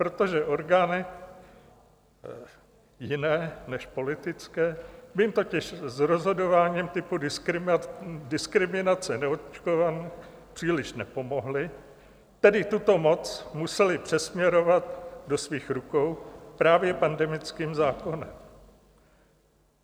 Protože orgány jiné než politické by jim totiž s rozhodováním typu diskriminace neočkovaných příliš nepomohly, tedy tuto moc museli přesměrovat do svých rukou právě pandemickým zákonem.